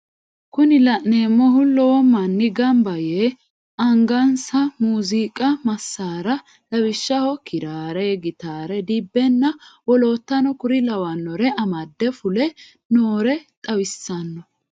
Kuni la'neemohu lowo manni ganba yee angansa muziiqu massaara lawishshaho kiraare, gitaare, dibbenna wolotano kuri lawannore amade fule noore xawissanno.